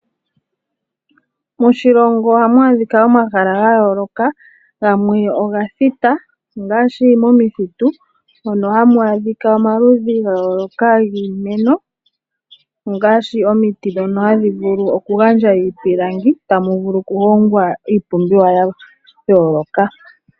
Moshilongo ohamu adhika omahala ga yooloka gamwe oga thita ngaashi omithitu mono hamu adhika omaludhi ga yooloka giimeno ongaashi omiti ndhono hadhi vulu oku gandja iipilangi mono tamu vulu oku hongwa iipumbiwa ya yooloka.